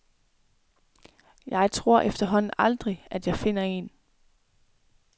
Jeg tror efterhånden aldrig, at jeg finder en.